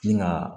Min ga